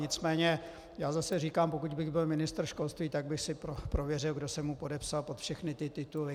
Nicméně já zase říkám, pokud bych byl ministr školství, tak bych si prověřil, kdo se mu podepsal pod všechny ty tituly.